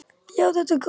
Já, þetta er gott!